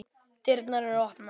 Dyrnar eru opnar.